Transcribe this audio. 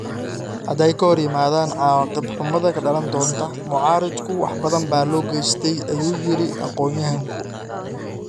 hadday ka hor yimaaddaan cawaaqib xumada ka dhalan doonta...mucaaridku wax badan baa loo geystay” ayuu yidhi aqoonyahanku.